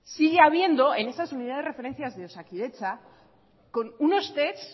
sigue habiendo en esas unidades de referencias de osakidetza con unos test